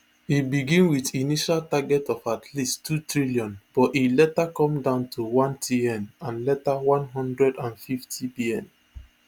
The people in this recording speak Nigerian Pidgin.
e begin wit initial target of at least two trillion but e later come down to onetn and later one hundred and fiftybn